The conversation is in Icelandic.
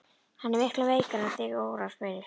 Hann er miklu veikari en þig órar fyrir.